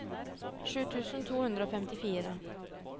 sju tusen to hundre og femtifire